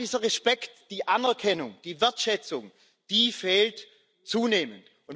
Und genau dieser Respekt, die Anerkennung, die Wertschätzung die fehlen zunehmend.